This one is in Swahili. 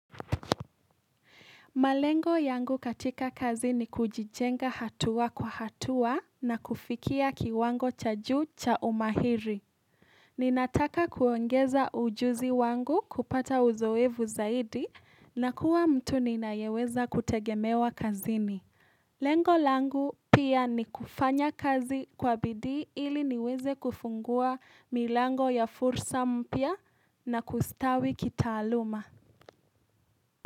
Malengo yangu katika kazi ni kujijenga hatuwa kwa hatuwa na kufikia kiwango cha juu cha umahiri. Ninataka kuongeza ujuzi wangu kupata uzoevu zaidi na kuwa mtu nina yeweza kutegemewa kazi ni. Lengo langu pia ni kufanya kazi kwa bidii ili niweze kufungua milango ya fursa mpya na kustawi kitaaluma.